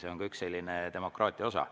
See on ka üks demokraatia osa.